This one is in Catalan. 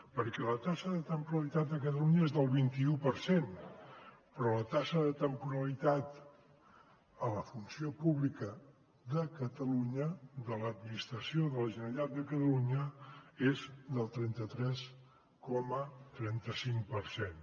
perquè la taxa de temporalitat a catalunya és del vint i u per cent però la taxa de temporalitat a la funció pública de catalunya de l’administració de la generalitat de catalunya és del trenta tres coma trenta cinc per cent